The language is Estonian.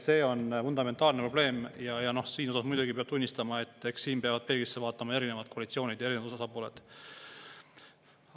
See on fundamentaalne probleem ja muidugi peab tunnistama, et siin peavad peeglisse vaatama erinevad koalitsioonid ja erinevad osapooled.